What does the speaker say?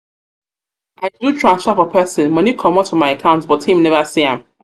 i do transfer for person money comot for my account but him never see am.